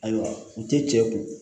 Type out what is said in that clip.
Ayiwa u tɛ cɛ kun